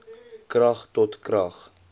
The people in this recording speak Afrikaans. krag tot krag